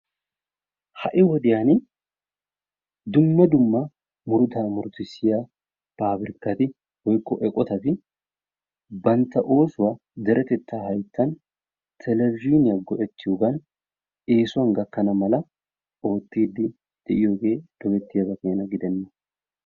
Ha'i wodiyani dumma dumma murutaa murutissiya paabirkati woykko eqqotatti bantta oosuwaa deretettaa haytan televizhiiniya go'ettiyogan eessuwan gakkana mala oottidi de'iyoge dogettiyaba keena gidenna.